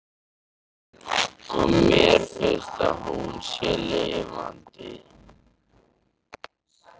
Og mér finnst að hún sé lifandi.